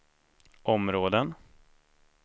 områden